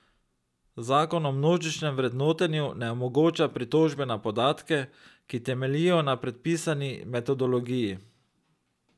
Zakon o množičnem vrednotenju ne omogoča pritožbe na podatke, ki temeljijo na predpisani metodologiji.